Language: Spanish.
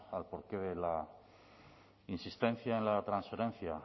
al porqué de la insistencia en la transferencia